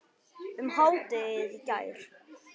um hádegið í gær.